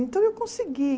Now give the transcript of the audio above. Então, eu consegui.